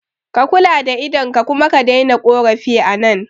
Ka kula da idon ka kuma ka daina korafi a nan